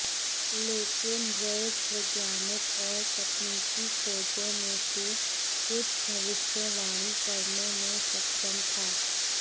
लेकिन वेल्स वैज्ञानिक और तकनीकी खोजों में से कुछ की भविष्यवाणी करने में सक्षम था